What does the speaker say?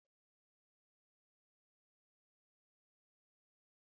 Ma'aikatan sun sanya takalman ruwan sama da safar hannu don ci gaba da aiki a cikin ruwan sama.